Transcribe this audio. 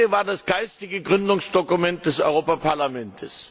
Ihre Rede war das geistige Gründungsdokument des Europaparlaments.